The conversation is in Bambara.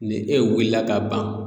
Ni e wulila la ka ban